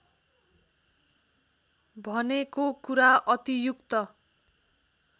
भनेको कुरा अतियुक्त